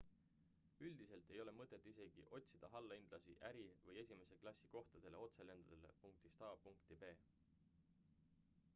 üldiselt ei ole mõtet isegi otsida allahindlusi äri või esimese klassi kohtadele otselendudele punktist a punkti b